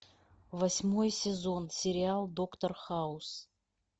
восьмой сезон сериал доктор хаус